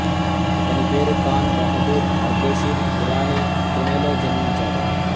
ఇతని పేరు ఖాన్ బహాదుర్ అర్దెషీర్ ఇరానీ పూణెలో జన్మించాడు